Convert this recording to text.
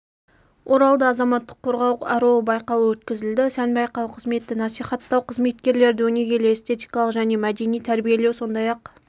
оралда азаматтық қорғау аруы байқауы өткізілді сән байқауы қызметті насихаттау қызметкерлерді өнегелі-эстетикалық және мәдени тәрбиелеу сондай-ақ